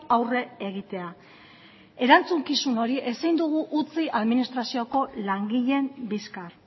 aurre egitea erantzukizun hori ezin dugu utzi administrazioko langileen bizkar